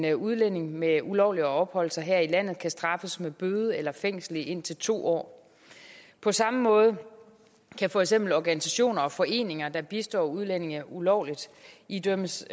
en udlænding med ulovligt at opholde sig her i landet kan straffes med bøde eller fængsel i indtil to år på samme måde kan for eksempel organisationer og foreninger der bistår udlændinge ulovligt idømmes